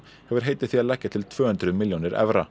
hefur heitið því að leggja til tvö hundruð milljónir evra